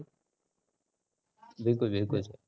बिलकुल बिलकुल.